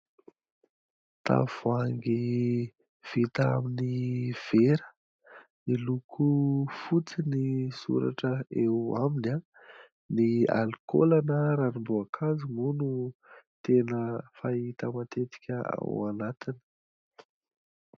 Tavoahangy vita amin'ny vera. Miloko fotsy ny soratra eo aminy. Ny alikaola na ranomboakazo moa no tena fahita matetika ao anatiny.